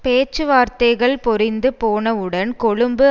பேச்சுவார்த்தைகள் பொறிந்து போனவுடன் கொழும்பு